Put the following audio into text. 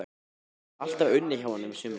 Ég hafði alltaf unnið hjá honum á sumrin.